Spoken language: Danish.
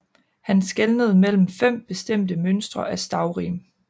Han skelnede mellem fem bestemte mønstre af stavrim